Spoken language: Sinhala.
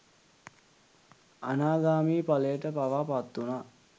අනාගාමි ඵලයට පවා පත්වූනා.